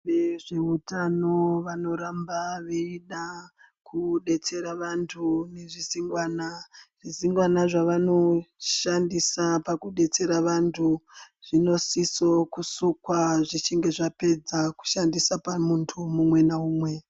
Vezveutano vanoramba veida kudetsera vantu ngezvizingwana zvizingwana zvavanoshandisa pavanodetsera vantu zvinosise kusukwa zvichinge zvapedza kushandisa pamuntu umwe ngaumwe.